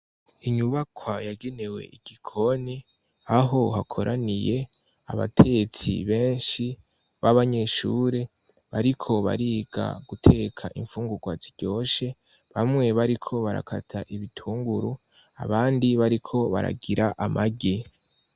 Inyubakwa yagenewe igikoni, aho hakoraniye abatetsi benshi b'abanyeshure bariko bariga guteka imfungurwa ziryoshe. Bamwe bariko barakata ibitunguru abandi bariko baragira amagi.